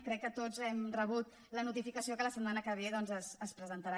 crec que tots hem rebut la notificació que la setmana que ve doncs es presentarà